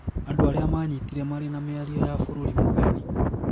Andũ arĩa manyitire marĩ na mĩario ya bũrũri mũgeni